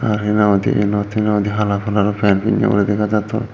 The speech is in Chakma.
te hina hoide ellor telor hala coloro pan pinne uri dega jatton.